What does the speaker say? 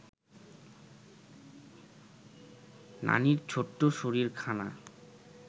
নানির ছোট্ট শরীরখানা